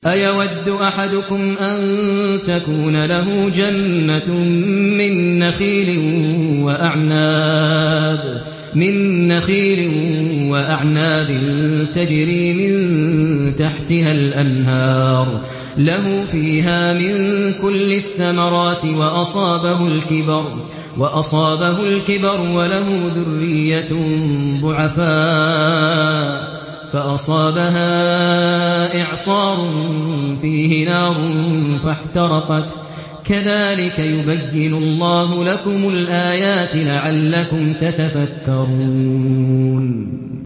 أَيَوَدُّ أَحَدُكُمْ أَن تَكُونَ لَهُ جَنَّةٌ مِّن نَّخِيلٍ وَأَعْنَابٍ تَجْرِي مِن تَحْتِهَا الْأَنْهَارُ لَهُ فِيهَا مِن كُلِّ الثَّمَرَاتِ وَأَصَابَهُ الْكِبَرُ وَلَهُ ذُرِّيَّةٌ ضُعَفَاءُ فَأَصَابَهَا إِعْصَارٌ فِيهِ نَارٌ فَاحْتَرَقَتْ ۗ كَذَٰلِكَ يُبَيِّنُ اللَّهُ لَكُمُ الْآيَاتِ لَعَلَّكُمْ تَتَفَكَّرُونَ